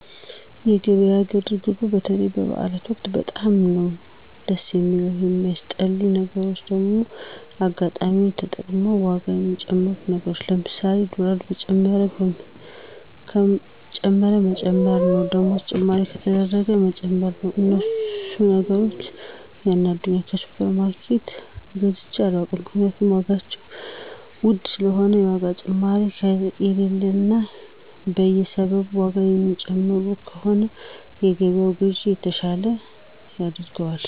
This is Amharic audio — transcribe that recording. የገበያ ግርግሩ በተለይ በበዐል ወቅት በጣም ነዉ ድስ የሚለዉ የሚያስጠሉኝ ነገሮች ደግሞ አጋጣሚወችን ተጠቅመዉ ዋጋ ሚጨምሩት ነገር ለምሳሌ ዶላር ከጨመረ መጨመር ነዉ ደሞዝ ጭማሪ ከተደረገም መጨመር ነዉ እነሱ ነገሮች ያናዱኛል ከሱፐር ማርኬት ገዝቸ አላዉቅም ምክንያቱም ዋጋቸዉ ዉድ ስለሆነ የዋጋ ጭማሪ ከሌለ እና በየሰበቡ ዋጋ ማይጨምር ከሆነ የገበያን ግዥ የተሻለ ያደርገዋል